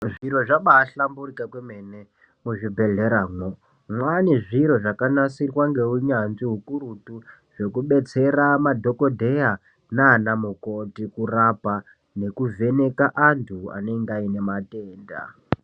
Zviro zvabaahlamburika kwemene muzvibhedhleramwo mwaane zviro zvakanasirwa ngeunyanzvi ukurutu, zvekudetsera madhokodheya nana mukoti kurapa nekuvheneka anthu anenge aine matenda.